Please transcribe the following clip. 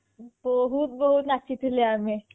ବହୁତ ବହୁତ ନାଚିଥିଲେ ଆମେ